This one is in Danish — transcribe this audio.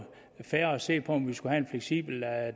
fair at se på om vi skulle have en fleksibel